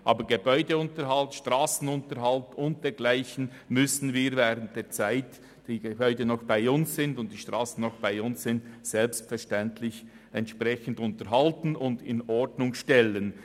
Aber Gebäude- und Strassenunterhalt und dergleichen müssen wir während der Zeit, in welcher die Gebäude und Strassen noch dem Kanton Bern gehören, selbstverständlich entsprechend unterhalten und in Ordnung stellen.